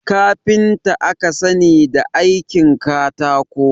Kafinta aka sani da aikin katako